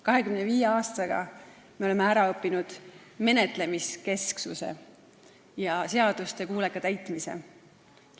25 aastaga oleme ära õppinud menetlemiskesksuse ja seaduste kuuleka täitmise.